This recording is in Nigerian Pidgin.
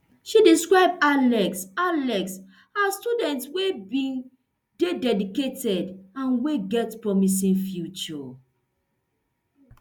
she describe alex alex as student wey bin dey dedicated and wey get promising future